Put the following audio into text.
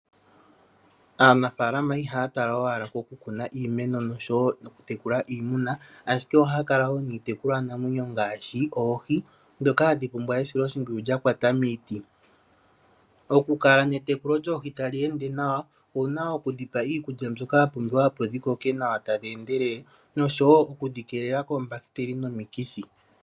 Aanafaalama ihaa tala owala koku kuna iimeno noshowoo okutekula iimuna, ashike oohakala woo niitekulwanamwenyo ngaashi oohi, ndhoka hadhi pumbwa esiloshimpwiyu lyakwata miiti. Okukala netekulo lyoohi ta li ende nawa, owuna oku dhi pa iikulya mbyoka yapumbiwa opo dhikoke nawa tadhi endelele, noshowoo okudhi keelela koombahiteli nokomikithi.